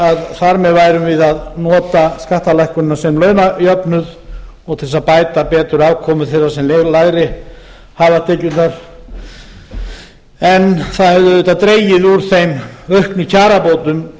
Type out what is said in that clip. að þar með værum við að nota skattalækkunina sem jöfnuð til að mæta betur afkomu þeirra sem lægri hafa tekjurnar en það hefur auðvitað dregið úr þeim auknu kjarabótum